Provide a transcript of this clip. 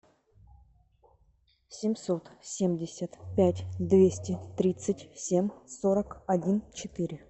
семьсот семьдесят пять двести тридцать семь сорок один четыре